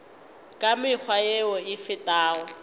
ka mekgwa yeo e fetago